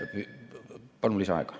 Palun lisaaega.